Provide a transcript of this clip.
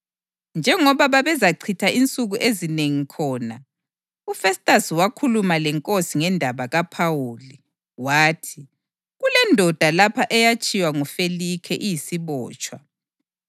Njengoba babezachitha insuku ezinengi khona, uFestasi wakhuluma leNkosi ngendaba kaPhawuli. Wathi, “Kulendoda lapha eyatshiywa nguFelikhe iyisibotshwa.